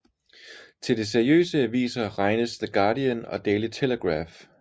Til de seriøse aviser regnes The Guardian og Daily Telegraph